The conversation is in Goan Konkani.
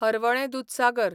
हरवळें दूदसागर